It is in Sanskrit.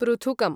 पृथुकम्